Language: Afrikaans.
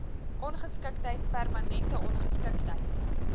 ongeskiktheid permanente ongeskiktheid